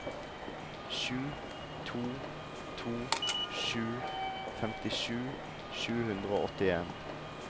sju to to sju femtisju sju hundre og åttien